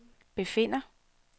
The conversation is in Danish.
befinder